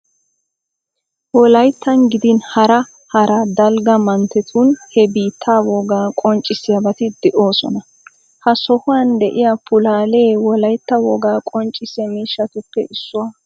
Wolayittan gidin hara hara dalga manttetun he biittaa wogaa qonccissiyabati de'oosona. Ha sohuwan diya pulaalee wolayitta wogaa qonccissiya miishshatuppe issuwa.